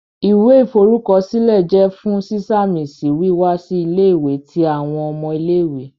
Iwẹ iforukọsilẹ jẹ fun siṣamisi wiwa si ile-iwe ti awọn ọmọ ile-iwe.